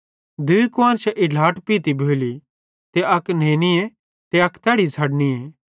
दूई कुआन्शां हिट्लाट पइती भोली त अक नेनीए ते अक तैड़ी छ़डनियें